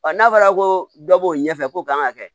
n'a fɔra ko dɔ b'o ɲɛfɛ ko kan ŋa kɛ